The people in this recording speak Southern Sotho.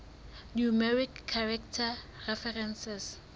numeric character references